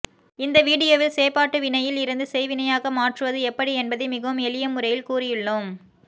இந்த வீடியோவில் செயப்பாட்டுவினையில் இருந்து செய்வினையாக மாற்றுவது எப்படி என்பதை மிகவும் எளிய முறையில் கூறியுள்ளோம்